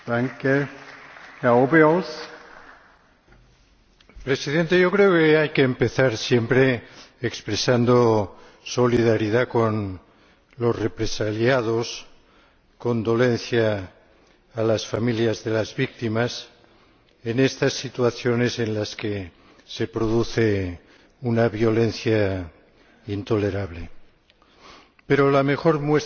Señor Presidente, creo que siempre hay que empezar expresando solidaridad con los represaliados y condolencia a las familias de las víctimas en estas situaciones en las que se produce una violencia intolerable. Pero, la mejor muestra de respeto